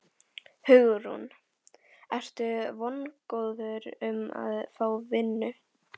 Hugrún: Ertu vongóður um að fá vinnu?